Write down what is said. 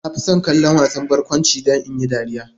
Na fi son kallon wasan barkwanci don in yi dariya.